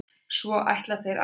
Svo ætla þeir að?